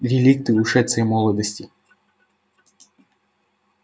реликты ушедшей молодости